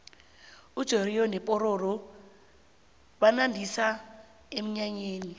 ujoriyo nopororo banandisa emnyanyeni